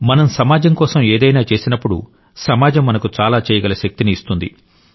మనం సమాజం కోసం ఏదైనా చేసినప్పుడు సమాజం మనకు చాలా చేయగల శక్తిని ఇస్తుంది